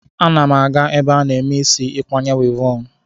Ana m aga ebe a na-eme isi ikwanye wivọn.